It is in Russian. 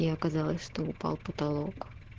и оказалось что упал потолок